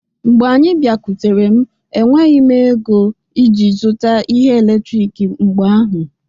Mgbe anyị bịakwutere m, enweghị m ego iji zụta ihe eletrik mgbe ahụ